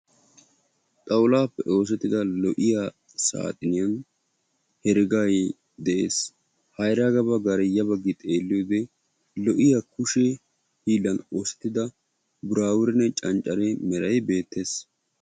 xawulaappe oosetida lo'iya saaxiniyan heregay de'ees. ha heregaape ha bagaara ya baggi xeelliyo wode kushshe hiilan oosettida buraabure canccare meray beettees.